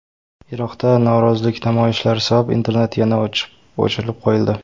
Iroqda norozilik namoyishlari sabab internet yana o‘chirib qo‘yildi.